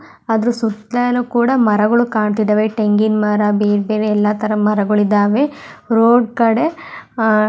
ಅದ್ರೂ ಸುತ್ತಾಲ್ಲು ಕೂಡ ಮರಗಳು ಕಾಣ್ತಿದಾವೆ ಟೆಂಗಿನ ಮರ ಬೇರ್ ಬೇರೆ ಎಲ್ಲ ತರ ಮರಗಳು ಇದ್ದವೇ ರೋಡ್ ಕಡೆ ಆಹ್ಹ್ --